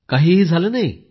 काहीही झालं नाही